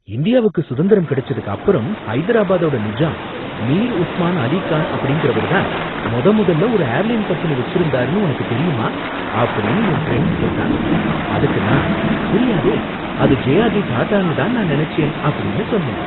"இந்தியாவுக்கு சுதந்திரம் கிடைச்சதுக்கு அப்பறம், ஹைதராபாத்தோட நிஜாம் மீர் உஸ்மான் அலி கான் அப்படிங்குறவர் தான் மொத மொதல்ல ஒரு ஏர்லைன் கம்பெனி வச்சிருந்தாருன்னு உனக்கு தெரியுமா?" அப்படின்னு என் ஃப்ரெண்டு கேட்டான். அதுக்கு நான் "தெரியாதே, அது ஜேஆர்டி டாடான்னு தான் நான் நெனைச்சேன்" அப்படின்னு சொன்னேன்.